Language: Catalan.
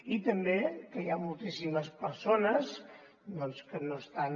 i també que hi ha moltíssimes persones doncs que no estan